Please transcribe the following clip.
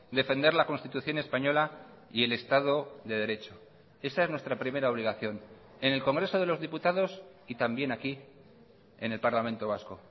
defender la constitución española y el estado de derecho esa es nuestra primera obligación en el congreso de los diputados y también aquí en el parlamento vasco